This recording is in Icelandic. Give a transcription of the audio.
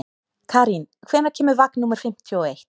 Karín, hvenær kemur vagn númer fimmtíu og eitt?